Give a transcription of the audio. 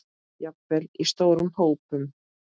Jafnvel í stórum hópum?